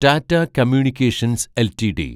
Tata communications LTD